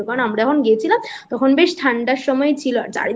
কারণ আমরা যখন গেছিলাম তখন বেশ ঠান্ডার সময় ছিল আর